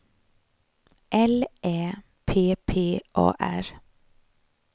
L Ä P P A R